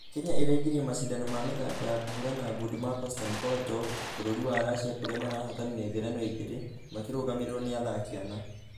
Kenya ĩraingĩrire mashidano ma mĩthako ya kũhũrana ngundi ma konstain korotkov bũrũri wa russia kũrĩa marahotanire ngerenwa igĩrĩ cia ....makĩrũgamĩrĩrwo na athaki ana.